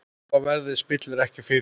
Lága verðið spillir ekki fyrir.